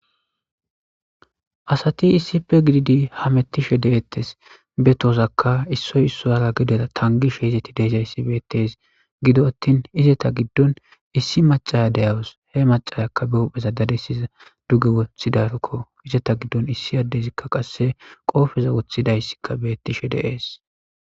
asati issife gididi hamettishe deettes be tozakka issoy issu ara gidea tangishe izetti deesayssi beettes gido attin izeta giddon issi macaya deyawos he macayakka biohpheza dadesiza duge wothidarakko izeta giddon issi addezikka qasse qoofeza wothidayssikka beettishe deees